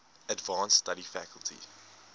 advanced study faculty